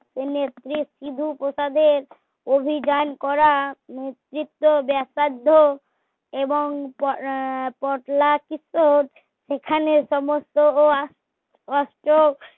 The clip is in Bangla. সিধু প্রসাদের অভিযান করা নেতৃত্ব ব্যাসার্ধ এবং এখানে সমস্ত ও